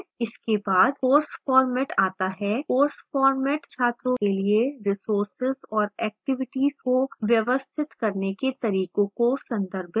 इसके बाद course format आता है course format छात्रों के लिए resources और activities को व्यवस्थित करने के तरीके को संदर्भित करता है